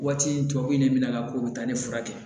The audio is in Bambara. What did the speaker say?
Waati tɔ bɛ ne minɛ a la ko o bɛ taa ne furakɛ